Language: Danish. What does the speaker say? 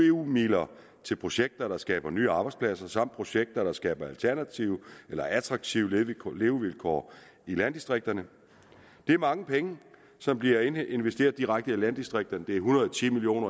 eu midler til projekter der skaber nye arbejdspladser samt projekter der skaber alternative eller attraktive levevilkår levevilkår i landdistrikterne det er mange penge som bliver investeret direkte i landdistrikterne det er en hundrede og ti million